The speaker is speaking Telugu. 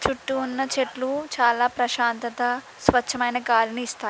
చుట్టూ ఉన్న చెట్లు చాలా ప్రశాంతత స్వచ్ఛమైన గాలిని ఇస్తాయి.